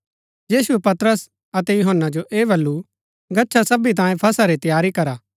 यीशुऐ पतरस अतै यूहन्‍ना जो ऐह बल्लू गच्छा सबी तांयें फसह री तैयारी करा